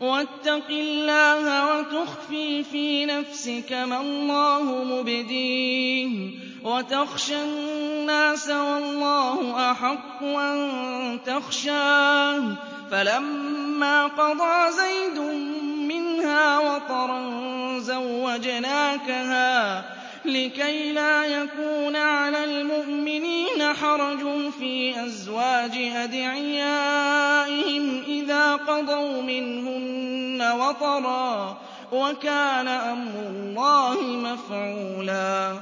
وَاتَّقِ اللَّهَ وَتُخْفِي فِي نَفْسِكَ مَا اللَّهُ مُبْدِيهِ وَتَخْشَى النَّاسَ وَاللَّهُ أَحَقُّ أَن تَخْشَاهُ ۖ فَلَمَّا قَضَىٰ زَيْدٌ مِّنْهَا وَطَرًا زَوَّجْنَاكَهَا لِكَيْ لَا يَكُونَ عَلَى الْمُؤْمِنِينَ حَرَجٌ فِي أَزْوَاجِ أَدْعِيَائِهِمْ إِذَا قَضَوْا مِنْهُنَّ وَطَرًا ۚ وَكَانَ أَمْرُ اللَّهِ مَفْعُولًا